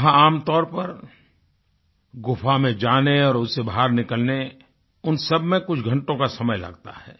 वहाँ आमतौर पर गुफ़ा में जाने और उससे बाहर निकलने उन सबमें कुछ घंटों का समय लगता है